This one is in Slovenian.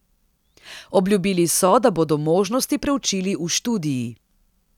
Obljubili so, da bodo možnosti preučili v študiji.